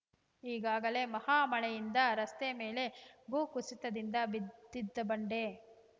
ಈಗಾಗಲೇ ಮಹಾ ಮಳೆಯಿಂದ ರಸ್ತೆ ಮೇಲೆ ಭೂ ಕುಸಿತದಿಂದ ಬಿದ್ದಿದ್ದ ಬಂಡೆ